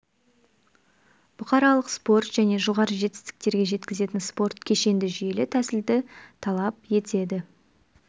бұқаралық спорт және жоғары жетістіктерге жеткізетін спорт кешенді жүйелі тәсілді талап етеді